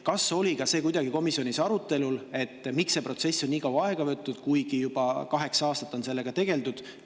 Kas oli ka see komisjonis arutelul, miks see protsess on nii kaua aega võtnud, kuigi juba kaheksa aastat on sellega tegeldud?